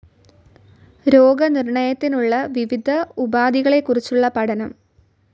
രോഗനിർണയത്തിനുള്ള വിവിധ ഉപാധികളെക്കുറിച്ചുള്ള പഠനം.